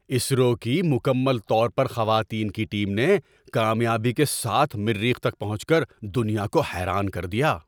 اسرو کی مکمل طور پر خواتین کی ٹیم نے کامیابی کے ساتھ مریخ تک پہنچ کر دنیا کو حیران کر دیا۔